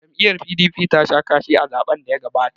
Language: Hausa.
Jam'iyyar PDP tasha kashi a zaɓen daya gabata.